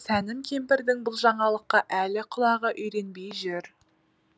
сәнім кемпірдің бұл жаңалыққа әлі құлағы үйренбей жүр